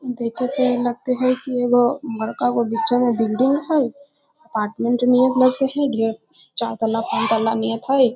देखे से यही लगते है की एगो बड़का गो बीचे में बिल्डिंग हेय अपार्टमेंट नियर लगते हेय चार तल्ला पांच तल्ला नियत हेय।